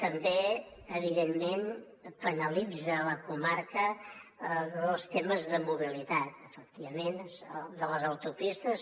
també evidentment penalitzen la comarca tots els temes de mobilitat efectivament de les autopistes